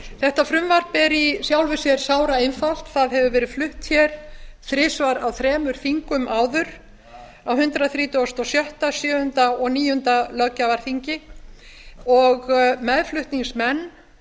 þetta frumvarp er í sjálfu sér sáraeinfalt það hefur verið flutt hér þrisvar á þremur þingum áður á á hundrað þrítugasta og sjötta hundrað þrítugasta og sjöunda og hundrað þrítugasta og níunda löggjafarþingi meðflutningsmenn